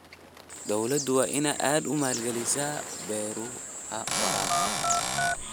Dawladdu waa inay aad u maalgelisaa beeraha waraabka.